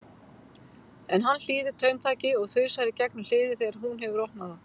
En hann hlýðir taumtaki og þusar í gegnum hliðið þegar hún hefur opnað það.